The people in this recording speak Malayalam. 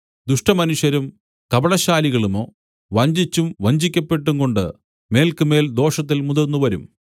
ദുഷ്ടമനുഷ്യരും കപടശാലികളുമോ വഞ്ചിച്ചും വഞ്ചിക്കപ്പെട്ടും കൊണ്ട് മേല്ക്കുമേൽ ദോഷത്തിൽ മുതിർന്നുവരും